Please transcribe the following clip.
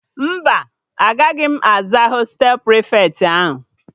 Mba, agaghị m aza hostelu prịfeti ahụ